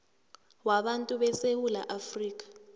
wabantu besewula afrika